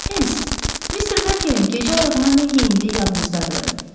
Ems, Mister Berkerin gecə ayağına nə geyindiyi yadınızdadır?